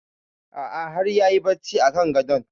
A'a har yayi barci a kan gadon